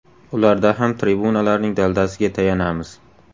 Ularda ham tribunalarning daldasiga tayanamiz.